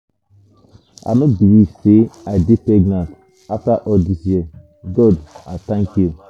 i no believe say i dey pregnant after all dis years. god i thank you.